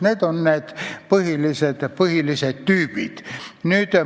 Need on põhilised tüübid.